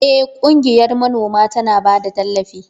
Eh, ƙungiyar manoman tana ba da tallafi.